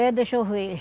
É, deixa eu ver.